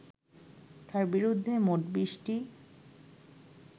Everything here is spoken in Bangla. তাঁর বিরুদ্ধে মোট বিশটি